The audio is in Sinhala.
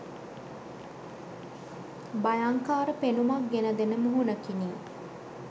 භයංකාර පෙනුමක් ගෙන දෙන මුහුණකිනි.